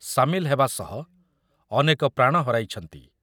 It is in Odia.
ସାମିଲ ହେବା ସହ ଅନେକ ପ୍ରାଣ ହରାଇଛନ୍ତି ।